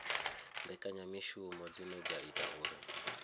mbekanyamishumo dzine dza ita uri